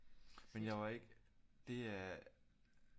Men jeg var ikke det er